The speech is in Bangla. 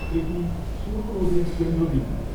এটি সুরু নদীর কেন্দ্রবিন্দু।